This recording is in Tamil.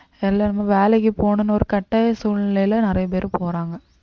எல்லாருமே வேலைக்கு போகணும்னு ஒரு கட்டாய சூழ்நிலையில நிறைய பேர் போறாங்க